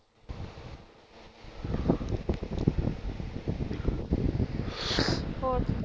ਹੋਰ ਸੁਣਾ